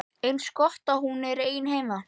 Eins gott að hún er ein heima.